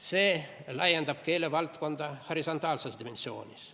See laiendab keelevaldkonda horisontaalses dimensioonis.